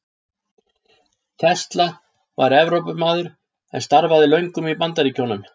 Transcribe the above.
Tesla var Evrópumaður en starfaði löngum í Bandaríkjunum.